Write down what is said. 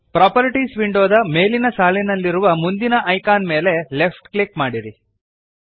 properties ವಿಂಡೋದ ಮೇಲಿನ ಸಾಲಿನಲ್ಲಿರುವ ಮುಂದಿನ ಐಕಾನ್ ಮೇಲೆ ಲೆಫ್ಟ್ ಕ್ಲಿಕ್ ಮಾಡಿರಿ